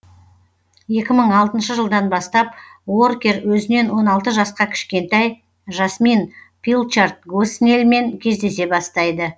екі мың алтыншы жылдан бастап уоркер өзінен он алты жасқа кішкентай жасмин пилчард госнеллмен кездесе бастайды